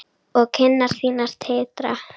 Og kinnar þínar titra.